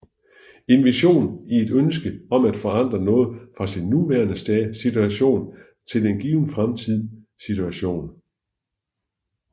En vision i et ønske om at forandre noget fra sin nuværende situation til en given fremtidig situation